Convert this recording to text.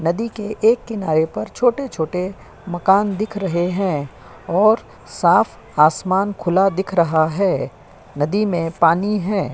नदी के एक किनारे पर छोटे-छोटे मकान दिख रहे हैं और साफ आसमान खुला दिख रहा है। नदी में पानी है।